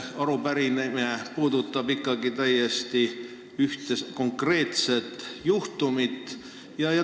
Arupärimine puudutab ikkagi täiesti konkreetset juhtumit.